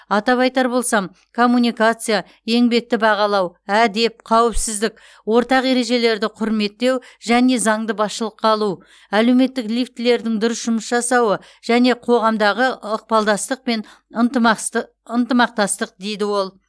атап айтар болсам коммуникация еңбекті бағалау әдеп қауіпсіздік ортақ ережелерді құрметтеу және заңды басшылыққа алу әлеуметтік лифтлердің дұрыс жұмыс жасауы және қоғамдағы ықпалдастық пен ынтымақтастық дейді ол